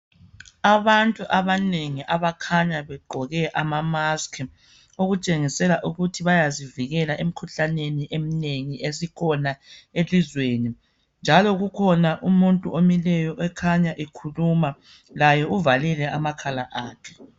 abantu abanengi abakhanya begqoke ama mask okutshengisela ukuthi bayazivikela emkhuhlaneni emnengi esikhona elizweni njalo kukhona umuntu omileyo okukhanya ekhuluma laye uvalile amakhala akhe